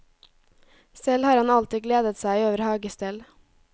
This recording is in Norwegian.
Selv har han alltid gledet seg over hagestell.